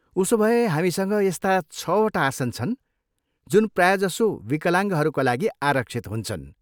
उसोभए हामीसँग यस्ता छवटा आसन छन् जुन प्रायजसो विकलाङ्गहरूका लागि आरक्षित हुन्छन्।